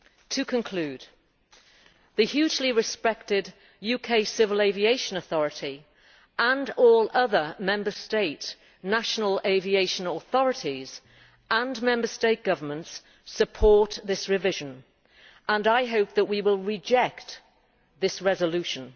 To conclude, the hugely respected UK Civil Aviation Authority and all other Member State national aviation authorities and Member State Governments support this revision and I hope that we will reject this resolution.